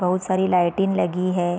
बहुत सारी लाइटिंग लगी है।